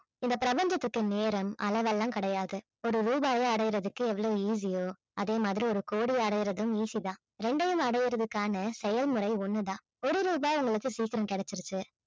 இந்த பிரபஞ்சத்திற்கு நேரம் அளவெல்லாம் கிடையாது ஒரு ரூபாய அடையறதுக்கு எவ்வளவு easy ஓ அதே மாதிரி ஒரு கோடியை அடையறதும் easy தான் இரண்டையும் அடைவதற்கான செயல்முறை ஒண்ணு தான் ஒரு ரூபாய் உங்களுக்கு சீக்கிரம் கிடைச்சிருச்சு